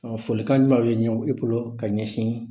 Folikan ɲumanw bɛ ɲɛ i bolo ka ɲɛsin